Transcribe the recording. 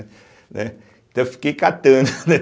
Né, Então, eu fiquei catando.